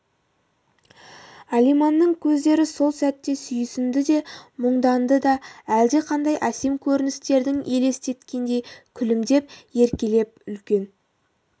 алиманның көздері сол сәтте сүйсінді де мұңданды да әлдеқандай әсем көріністерді елестет кендей күлімдеп еркелеп үлкен